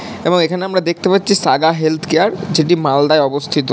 এবং এখানে আমরা দেখতে পাচ্ছি সাগা হেলথ কেয়ার । যেটি মালদায় অবস্থিত।